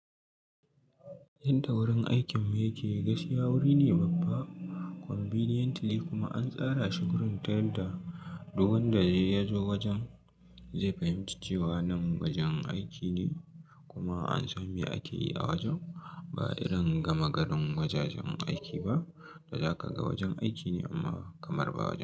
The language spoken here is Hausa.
Yadda wurin aikinmu yake gaskiya wuri ne babba conveniently kuma an tsara shi gurin ta yadda duk wanda ya zo wajen zai fahimci cewa nan wajen aiki ne kuma an san mai akeyi a wajen ba irin gama garin wajajen aiki ba. Daza ka ga wajen aiki ne amma kamar ba wajen.